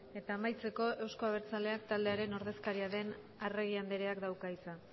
eta amaitzeko euzko abertzaleak taldearen ordezkaria den arregi andreak dauka hitza